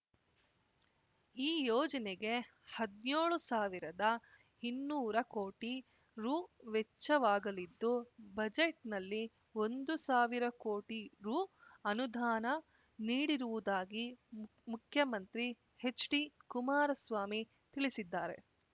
ಈ ಯೋಜನೆಗೆ ಹದ್ನ್ಯೋಳು ಸಾವಿರದ ಇನ್ನೂರ ಕೋಟಿ ರೂ ವೆಚ್ಚವಾಗಲಿದ್ದು ಬಜೆಟ್‌ನಲ್ಲಿ ಒಂದು ಸಾವಿರ ಕೋಟಿ ರೂ ಅನುದಾನ ನೀ‌ಡಿರುವುದಾಗಿ ಮುಖ್ಯಮಂತ್ರಿ ಹೆಚ್ಡಿ ಕುಮಾರಸ್ವಾಮಿ ತಿಳಿಸಿದ್ದಾರೆ